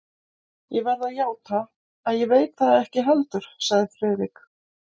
Ég verð að játa, að ég veit það ekki heldur sagði Friðrik.